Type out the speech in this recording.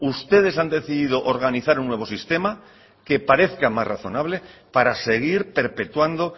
ustedes han decidido organizar un nuevo sistema que parezca más razonable para seguir perpetuando